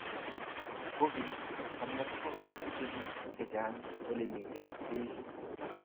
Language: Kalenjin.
covid 19 komiti biik chechang olemiten cheiso